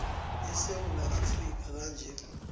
esewula afrika kanye